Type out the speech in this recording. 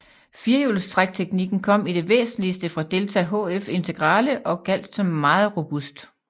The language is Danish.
Firehjulstrækteknikken kom i det væsentligste fra Delta HF Integrale og gjaldt som meget robust